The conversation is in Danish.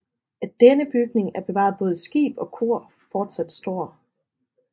Af denne bygning er bevaret både skib og kor fortsat står